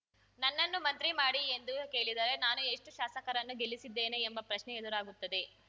ನನ್ನನ್ನು ಮಂತ್ರಿ ಮಾಡಿ ಎಂದು ಕೇಳಿದರೆ ನಾನು ಎಷ್ಟುಶಾಸಕರನ್ನು ಗೆಲ್ಲಿಸಿದ್ದೇನೆ ಎಂಬ ಪ್ರಶ್ನೆ ಎದುರಾಗುತ್ತದೆ